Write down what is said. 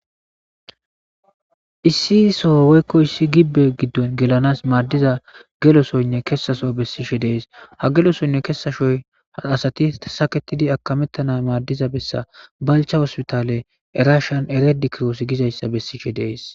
issi so woykkoyssi gibbe giddon gelanas maaddiza gelosonne kesaso bessishe dees ha gelo sonne kesashoy asati saketidi akamettana maaddiza bessa balcha hospitale erashan eredi kiroos gizayssa bessishe dees